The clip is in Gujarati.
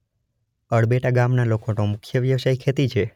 અળબેટા ગામના લોકોનો મુખ્ય વ્યવસાય ખેતી છે.